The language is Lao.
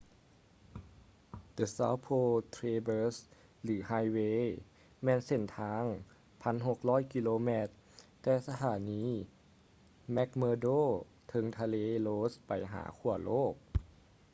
the south pole traberse ຫຼື highway ແມ່ນເສັ້ນທາງ 1600 ກິໂລແມັດແຕ່ສະຖານີ mcmurdo ເທິງທະເລ ross ໄປຫາຂວ້າໂລກ